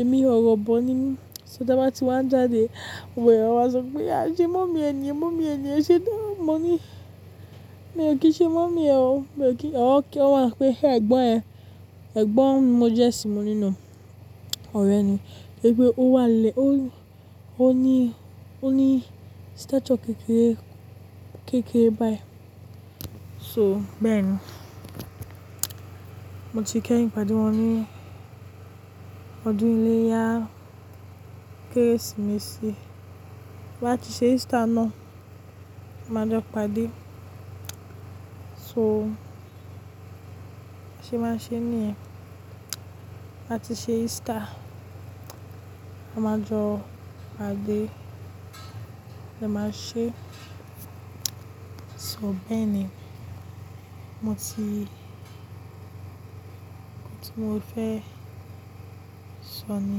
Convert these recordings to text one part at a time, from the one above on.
Ẹ̀mí ò orọ̀bọ ními, so tí a bá ti wá ń jáde, wẹ́ẹ́ wọn á sọ pé a ṣe mọ́mi ẹ niyan, mọ́mi ẹ niyen ẹ ṣe dá mọ́ ni. Mi ò kí ṣe mọ́mi ẹ o, mi ò kí, wọn máa ń pe ẹ̀gbọ́n ẹ, ẹ̀gbọ́n ni mo jẹ́ sí mo ní no, ọ̀rẹ́ ni. Ṣé pé ó wà lé, ó ní, ó ní stature kékeré, kékeré báyìí. So bẹ́ẹ̀ ni, mo ti kẹ́yìn pàdé wọn ní ọdún iléyá, kérésìmesì. Tí a bá ti ṣe Easter náà, a máa jọ paàdé. So ṣe máa ń ṣe níyen, bí a ti ṣe Easter, a máa jọ pàdé. A máa ṣe, so bẹ́ẹ̀ ni. Mo ti, ohun tí mo fẹ́ sọ ni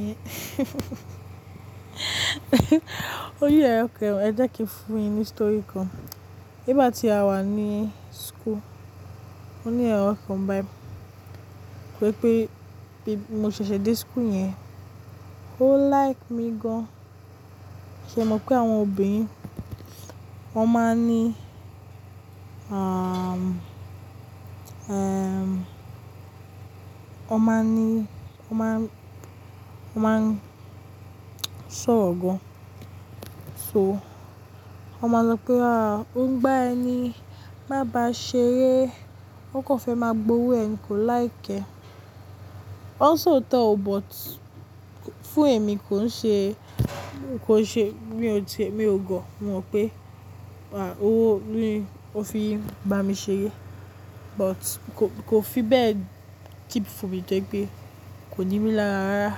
yẹn. Ó ní orọ kan, ẹ jẹ́ kí fún yín ní story kan. Nígbà tí a wà ní school, ó ní ọ̀rẹ́ kan báyìí. Wípé bí mo ṣẹ̀ṣẹ̀ dé school yẹn, ó like mi gan. Ṣé e mọ̀ pé àwọn obìnrin, wọ́n máa ní, aaah mm, eeẹmmm, wọ́n máa ní, wọ́n máa, wọ́n máa sọ̀rọ̀ gan. So wọ́n máa sọ pé ah, ó ń gbá ẹni, má ba ṣe eré, ó kàn fẹ́ máa gbowó ẹ ni kò like ẹ. Wọn sọ tọ́ ọ but fún èmi kò ń ṣe, kò ṣe mi ò ti mi ò gọ̀. Mo mọ̀ pé wà ó wó, ní ò fi ń bá mi ṣeré but ko kò fi bẹ́ẹ̀ kip fún mi tó pé kò ní mí lára rárá.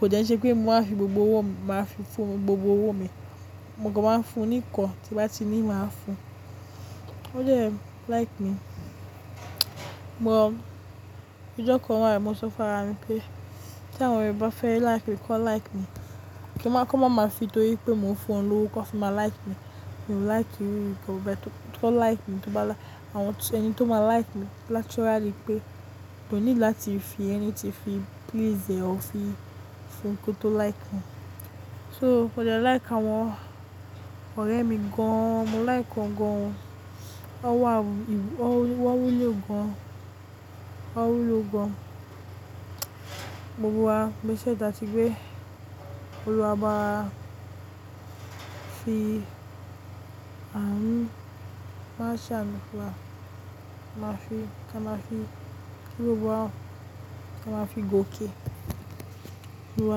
Kò dẹ́ n se pé mo máa fi gbogbo owó mi, máa fi fún gbogbo owó mi. Mo ko máa ń fún ní nkan, tí bá ti ní, màá fún. Ó dẹ̀ like mi. Ọjọ́ kan wá, mo sọ fún ara mi pé tí àwọn oọ̀rẹ́ e bá fẹ́ like mi, kọ like mi. Kí màá kọ́, máa ma fi tó ri pé mò ń fún wọn lówó, kọ́ fi má like mi. Mi ò like wíwí kò bẹ́ẹ̀ tó. Kọ like mi tó bá la, àwọn ẹni tó máa like mi naturally pé kò need láti fi anything tí fi please ẹ, o fi fún kí ó tó like mi. So ó dẹ́ like àwọn ọ̀rẹ́ mi gan. Mo like wọn gan. Wọ́n wà, wọ́n wúlò gan, wọ́n wúlò gan gbogbo wa. Ṣé ẹ dà tí pé olúwa bá fi àánú, máa ṣàánú fún wa, ká máa fi gbogbo wa, ká máa fi gòkè olúwa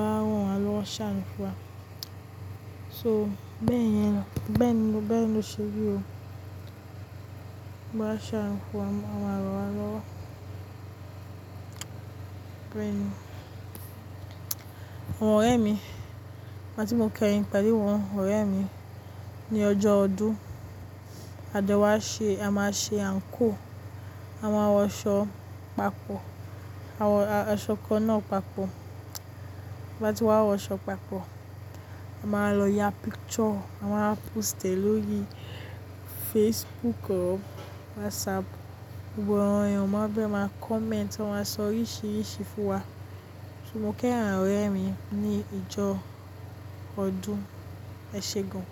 a ràn waa lọ́wọ́ ṣàánú fún wa. So bẹ́ẹ̀ yẹn ló, bẹ́ẹ̀ ni, bẹ́ẹ̀ ni ó ṣe rí o. Olúwa a ṣàánú fún wa, wọ́n máa rọwa lọ́wọ́. Bẹ́ẹ̀ ni. Àwọn ọ̀rẹ́ mi, nígbà tí mo kẹ́yìn pàdé wọn, ọ̀rẹ́ mi ní ọjọ́ ọdún, a jọ wá ṣe, a máa ṣe anko, a máa wọ aṣọ papọ̀, a wọ aṣọ kan náà papọ̀. Bí a bá ti wá wọ aṣọ papọ̀, a máa lọ ya picture, a máa post e lórí Facebook or WhatsApp. Gbogbo àwọn èèyàn máa fẹ́ máa comment, wọ́n máa sọ oríṣiríṣi fún wa. So mo kí àwọn ọ̀rẹ́ mi ní ìjọ ọdún, ẹ ṣe gan.